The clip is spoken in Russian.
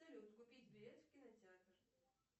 салют купить билет в кинотеатр